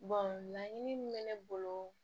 laɲini min bɛ ne bolo